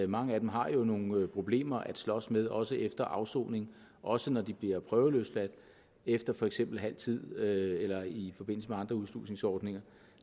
mange af dem har jo nogle problemer at slås med også efter afsoning også når de bliver prøveløsladt efter for eksempel halv tid eller i forbindelse med andre udslusningsordninger